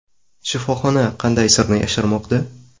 Shifoxona qanday sirni yashirmoqda?